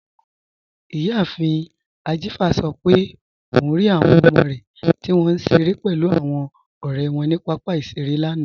Iyàáfin Ajífa sọ̀ pé ọun rí awọn ọmọ rẹ tí wọn nṣẹ̀rẹ̀ pẹ̀lú awọn ọ̀rẹ̀ wọn ni papa iṣẹ̀rẹ̀ lánà.